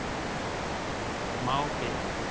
Það er smá bit